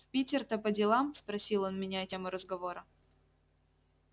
в питер то по делам спросил он меняя тему разговора